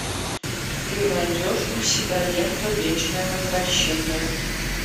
ты найдешь у себя ленту вечное возвращение